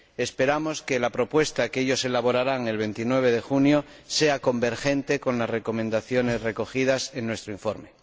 Esperamos que la propuesta que ellos elaborarán el 29 de junio sea convergente con las recomendaciones recogidas en nuestro informe.